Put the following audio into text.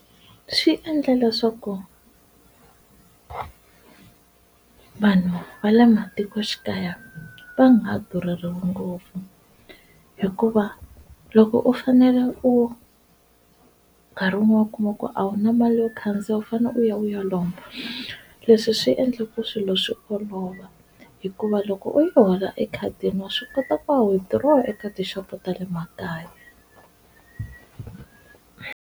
Swi endla leswaku vanhu va le matikoxikaya va nga durheriwi ngopfu, hikuva loko u fanele u nkarhi wun'we u kuma ku a wu na mali yo khandziya u fane u ya u ya lomba leswi swi endla ku swilo swi olova hikuva loko u yi hola ekhadini wa swi kota ku ya withdraw eka ti-shop-o ta le makaya.